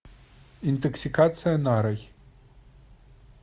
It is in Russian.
интоксикация нарой